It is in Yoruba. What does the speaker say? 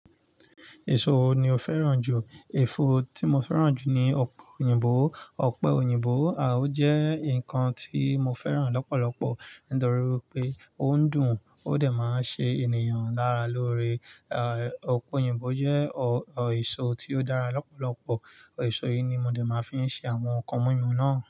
Èso wo ni o fẹ́ràn jù? Ẹ̀fọ́ tí mo fẹ́ràn jù ni ọ̀pẹ̀ òyìnbó. Ọ̀pẹ̀ òyìnbó ó jẹ́ ǹnkan tí mo fẹ́ràn lọ́pọ̀lọpọ̀ nítorí pé ó ń dùn ó dẹ̀ máa ń ṣe ènìyàn lára lóore. Ọ̀pẹ̀ òyìnbó jẹ́ èso tí ó dára lọ́pọ̀lọpọ̀. Ẹ̀so yìí ni mo dẹ̀ máa fi ń ṣe àwọn ǹnkan mímu náà.